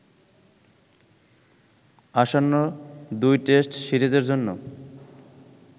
আসন্ন ২ টেস্ট সিরিজের জন্য